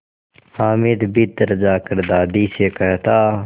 हामिद भीतर जाकर दादी से कहता